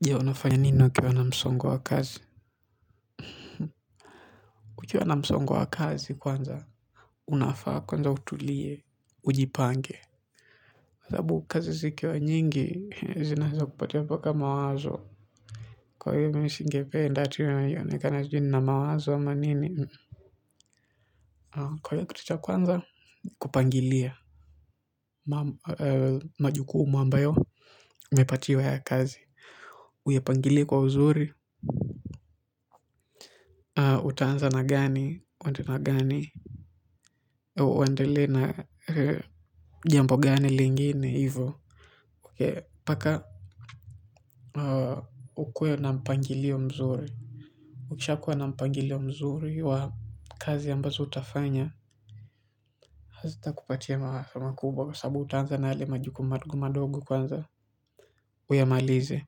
Je unafanya nini ukiwa na msongo wa kazi nikiwa na msongo wa kazi kwanza. Unafaa kwanza utulie. Ujipange wasabu kazi zikiwa nyingi zinaesa kupatia mpaka mawazo. Kwa hiyo mimi singependa ati iyonekana jini na mawazo wa manini. Kwa hiyo kutucha kwanza. Kupangilia majukumu ambayo umepatiwa ya kazi. Uyapangilie kwa uzuri. Utaanza na gani, wende na gani. Uwendele na jambo gani lingine hivo paka ukuwe na mpangilio mzuri. Ukisha kuwa na mpangilio mzuri wa kazi ambazo utafanya hazita kupatia makubwa kwa sababu utanza na ale majukumu madogo kwanza uyamalize.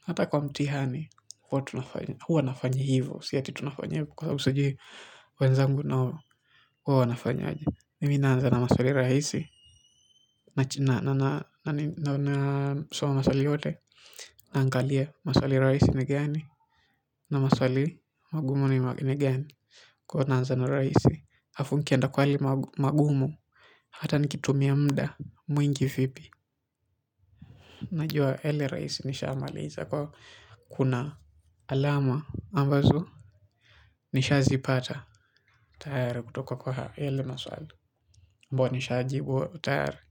Hata kwa mtihani huwa nafanya hivo. Siya ati tunafanya hivo kwa sababu sujui wenzangu na huwa wanafanya. Mimi nanza na maswali raisi na na soma swali yote naangalia maswali raisi ni gani na maswali magumu ni magu ni gani kwa huo nanza na raisi hafunkienda kwali magumu hata nikitumia mda mwingi vipi najua yale raisi nisha maliza kwa kuna alama ambazo nisha zipata tayari kutoka kwa yale maswali ambao nishajibu tayari. Kwa hivyo.